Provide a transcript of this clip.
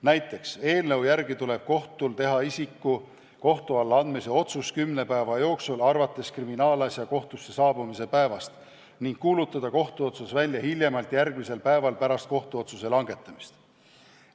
Näiteks tuleb eelnõu järgi teha kohtul isiku kohtu alla andmise otsus kümne päeva jooksul alates kriminaalasja kohtusse saabumise päevast ning kuulutada kohtuotsus välja hiljemalt järgmisel päeval pärast kohtuotsuse langetamist.